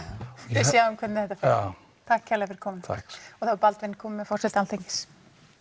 við sjáum hvernig þetta fer takk kærlega fyrir komuna takk og þá er Baldvin kominn með forseta Alþingis